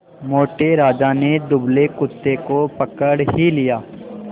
मोटे राजा ने दुबले कुत्ते को पकड़ ही लिया